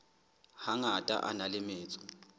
hangata a na le metso